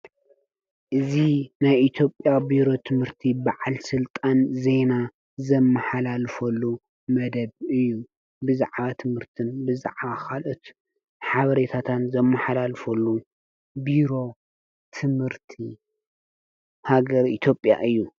እዚ ናይ ኢትዮጵያ ቢሮ ትምህርቲ ብዓል ስልጣን ዜና ዘመሓላልፈሉ መደብ እዩ። ብዛዕባ ትምህርትን ብዛዕባ ካልኦት ሓበሬታታት ዘመሓላልፈሉ ቢሮ ትምህርቲ ሃገር ኢትዮጵያ እዩ::